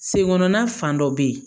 Sen kɔnɔnana fan dɔ bɛ yen